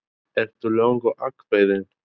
Erla: Ertu löngu ákveðinn?